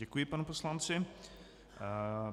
Děkuji panu poslanci.